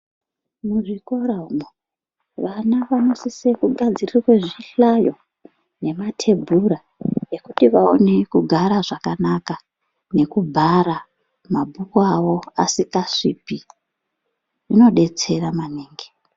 Muzvikoramwo vana vanosise kugadzirirwe zvihlayo nematebhura yekuti vaine kugara zvakanaka , nekubhara mabhuku avo asindasvipi zvinodetsera maningi.